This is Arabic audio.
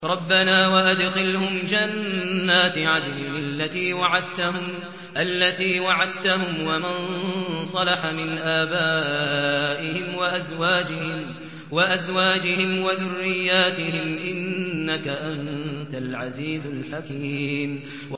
رَبَّنَا وَأَدْخِلْهُمْ جَنَّاتِ عَدْنٍ الَّتِي وَعَدتَّهُمْ وَمَن صَلَحَ مِنْ آبَائِهِمْ وَأَزْوَاجِهِمْ وَذُرِّيَّاتِهِمْ ۚ إِنَّكَ أَنتَ الْعَزِيزُ الْحَكِيمُ